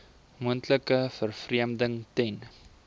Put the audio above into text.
moontlike vervreemding ten